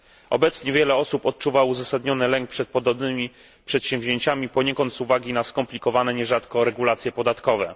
Obecnie wiele osób odczuwa uzasadniony lęk przed podobnymi przedsięwzięciami, poniekąd z uwagi na skomplikowane nierzadko regulacje podatkowe.